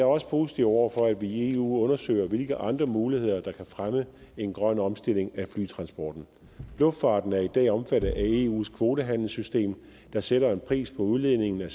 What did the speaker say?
også positiv over for at vi i eu undersøger hvilke andre muligheder der kan fremme en grøn omstilling af flytransporten luftfarten er i dag omfattet af eus kvotehandelssystem der sætter en pris på udledningen af